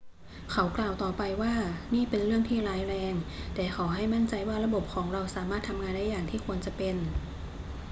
เขากล่าวต่อไปว่า นี่เป็นเรื่องที่ร้ายแรง แต่ขอให้มั่นใจว่าระบบของเราสามารถทำงานได้อย่างที่ควรจะเป็น